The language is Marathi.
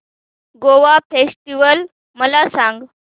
गोवा फेस्टिवल मला सांग